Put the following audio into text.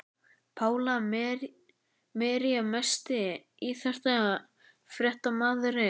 Pála Marie Besti íþróttafréttamaðurinn?